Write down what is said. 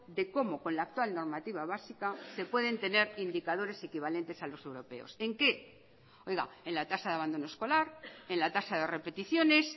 de cómo con la actual normativa básica se pueden tener indicadores equivalentes a los europeos en qué en la tasa de abandono escolar en la tasa de repeticiones